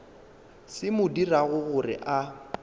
se mo dirago gore a